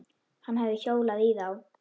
Hann hefði hjólað í þá.